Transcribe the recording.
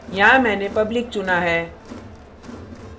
यहाँ मैंने public चुना है